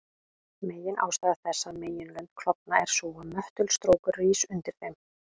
Meginástæða þess að meginlönd klofna er sú að möttulstrókur rís undir þeim.